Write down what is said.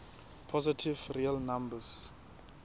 positive real numbers